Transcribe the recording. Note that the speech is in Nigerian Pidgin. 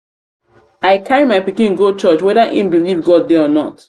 i carry my pikin go church whether im believe god dey or not.